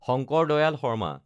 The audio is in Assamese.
শংকৰ দয়াল শৰ্মা